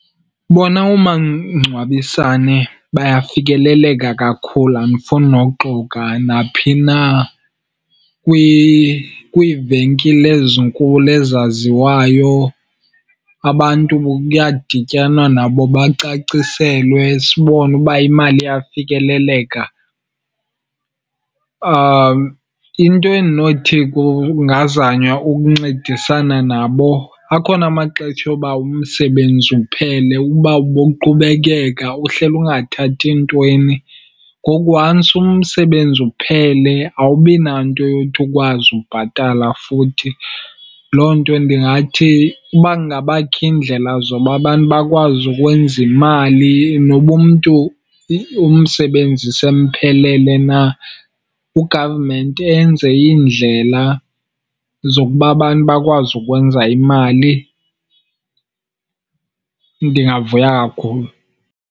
Bona oomangcwabisane bayafikeleleka kakhulu, andifuni nokuxoka. Naphi na, kwiivenkile ezinkulu ezaziwayo abantu kuyadityanwa nabo bacaciselwe, sibone uba imali iyafikeleleka. Into endinothi kungazanywa ukuncedisana nabo, akhona amaxetsha oba umsebenzi uphele uba ubuqhubekeka uhleli ungathathi ntweni, ngoku once umsebenzi uphele awubi nanto yothi ukwazi ubhatala futhi. Loo nto ndingathi uba kungabakho iindlela zoba abantu bakwazi ukwenza imali noba umntu umsebenzi semphelele na. U-government enze iindlela zokuba abantu bakwazi ukwenza imali, ndingavuya kakhulu.